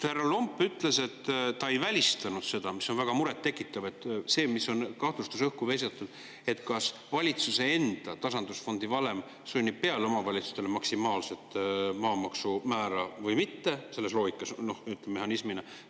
Härra Lomp ütles, et ta ei välista seda – see on väga muret tekitav – õhku visatud kahtlust, et valitsuse enda tasandusfondi valem sunnib omavalitsustele peale maksimaalset maamaksumäära selles loogikas, ütleme, mehhanismina.